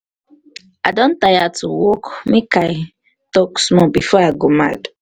i don tire to work make i talk small before i go mad.